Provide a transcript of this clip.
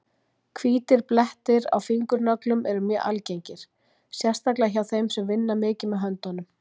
Hvítir blettir á fingurnöglum eru mjög algengir, sérstaklega hjá þeim sem vinna mikið með höndunum.